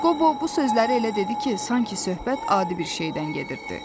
Qobo bu sözləri elə dedi ki, sanki söhbət adi bir şeydən gedirdi.